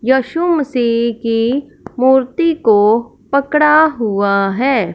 यशु मसीह की मूर्ति को पकड़ा हुआ है--